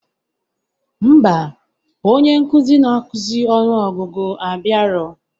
Ḿbà, onye nkuzi na akuzi ọnụ ọgụgụ abiarọ